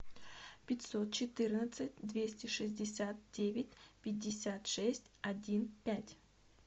пятьсот четырнадцать двести шестьдесят девять пятьдесят шесть один пять